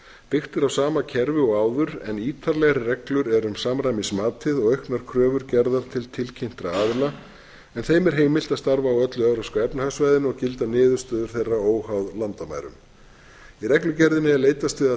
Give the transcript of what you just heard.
byggt er á sama kerfi og áður en ítarlegri reglur eru um samræmismatið og auknar kröfur gerðar til tilkynntra aðila en þeim er heimilt að starfa á öllu evrópska efnahagssvæðinu og gilda niðurstöður þeirra óháð landamærum í reglugerðinni er leitast við að taka